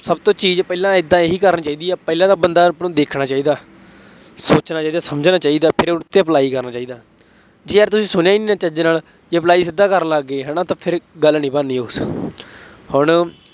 ਸਭ ਤੋਂ ਚੀਜ਼ ਪਹਿਲਾਂ ਏਦਾਂ ਇਹੀ ਕਰਨੀ ਚਾਹੀਦੀ ਹੈ, ਪਹਿਲਾਂ ਤਾਂ ਬੰਦਾ ਆਪਾਂ ਨੂੰ ਦੇਖਣਾ ਚਾਹੀਦਾ, ਸੋਚਣਾ ਚਾਹੀਦਾ, ਸਮਝਣਾ ਚਾਹੀਦਾ, ਫੇਰ ਉਸ ਤੇ apply ਕਰਨਾ ਚਾਹੀਦਾ, ਜੇ ਯਾਰ ਤੁਸੀਂ ਸੁਣਿਆ ਹੀ ਨਹੀਂ ਚੱਜ ਨਾਲ, ਜੇ apply ਸਿੱਧਾ ਕਰਨ ਲੱਗ ਗਏ, ਤਾਂ ਫੇਰ ਗੱਲ ਨਹੀਂ ਬਣਨੀ ਉਸ, ਹੁਣ